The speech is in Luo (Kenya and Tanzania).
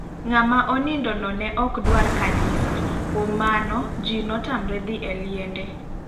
Ng'ama onindo no ne ok dwar kanisa ,kuom mano ji notamre dhi e liende.